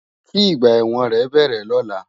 Ki igbà èwòn rè bèrè lòlá